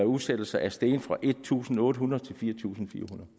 udsættelser er steget fra en tusind otte hundrede til fire tusind